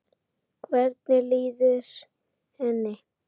Hvernig líður henni?